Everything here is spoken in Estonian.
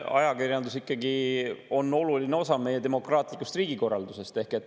Ajakirjandus ikkagi on oluline osa meie demokraatlikust riigikorraldusest.